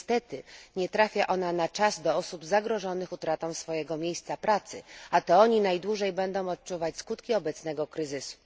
Niestety nie trafia ona na czas do osób zagrożonych utratą swojego miejsca pracy, a to oni będą najdłużej odczuwać skutki obecnego kryzysu.